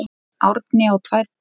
Árni á tvær dætur.